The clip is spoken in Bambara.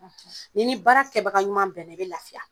n'i ni baara kɛbaga ɲuman bɛnna i be lafiya.